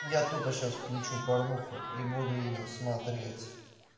я тупо сейчас включу порнуху и буду её смотреть